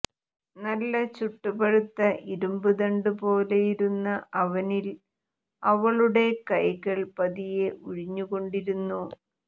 നല്ല ചുട്ടു പഴുത്ത ഇരുമ്പു ദണ്ട് പോലെയിരുന്ന അവനിൽ അവളുടെ കൈകൾ പതിയെ ഉഴിഞ്ഞു കൊണ്ടിരുന്നു